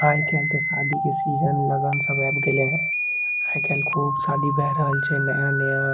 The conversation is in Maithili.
आय केल ते शादी के सीजन लगन सब लग गेले है आय केल खुब शादी भय रहल छै नया-नया।